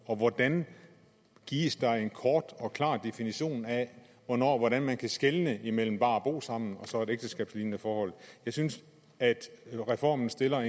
og hvordan gives der en kort og klar definition af hvordan man kan skelne imellem det bare at bo sammen og så et ægteskabslignende forhold jeg synes at reformen stiller